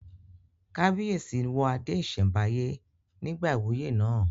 Kábíyèsí wọ adé ìsẹ̀mbáyé nígbà ìwúyè náà